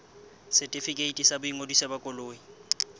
setefikeiti sa boingodiso ba koloi